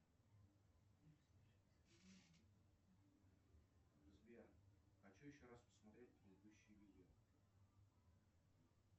сбер хочу еще раз посмотреть предыдущие видео